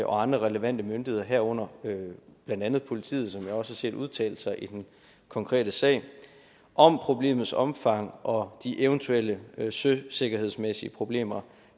og andre relevante myndigheder herunder blandt andet politiet som jeg også har set udtale sig i den konkrete sag om problemets omfang og de eventuelle søsikkerhedsmæssige problemer